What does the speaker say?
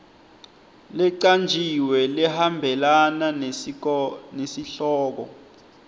lecanjiwe lehambelana nesihloko